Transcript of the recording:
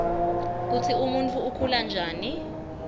kutsi umuntfu ukhula njani